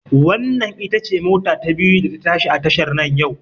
Wannan ita ce mota ta biyu da ta tashi a tashar nan yau